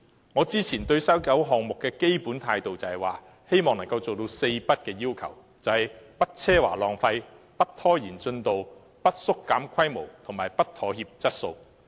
我之前對西九文化區項目的基本態度，是希望能夠做到"四不"：不奢華浪費、不拖延進度、不縮減規模及不妥協質素。